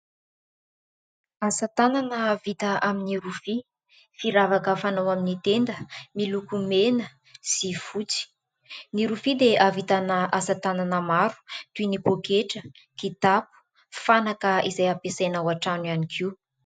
Asatanana vita amin'ny rofia, firavaka fanao amin'ny tenda miloko mena sy fotsy. Ny rofia dia ahavitana asatanana maro toy ny poketra, kitapo, fanaka izay ampiasaina ao an-trano ihany koa.